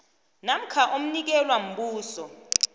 namkha omnikelwa mbuso